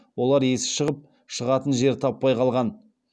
олар есі шығып шығатын жер таппай қалған